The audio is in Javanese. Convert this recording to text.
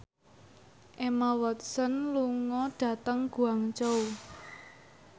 Emma Watson lunga dhateng Guangzhou